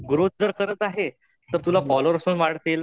Growth जर करत आहे तर तुला फोल्लोवेर्स पण वाढतील.